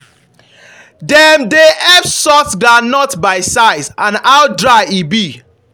dem dey help sort groundnut by size and how dry e be.